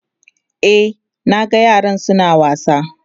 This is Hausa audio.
E, na ga yaran su na wasa.